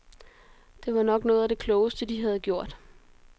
Det var nok noget af det klogeste, de har gjort.